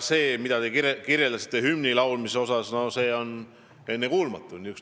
See hümni laulmise kirjeldus – see on ennekuulmatu!